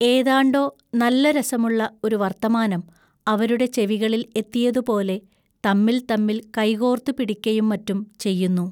ഏതാണ്ടൊ നല്ല രസമുള്ള ഒരു വൎത്തമാനം അവരുടെ ചെവികളിൽ എത്തിയതുപോലെ തമ്മിൽ തമ്മിൽ കൈകോൎത്തുപിടിക്കയും മറ്റും ചെയ്യുന്നു.